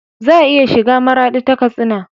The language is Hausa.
Za a iya shiga maradi ta katsina